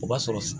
O b'a sɔrɔ